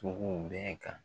cogoo bɛɛ kan.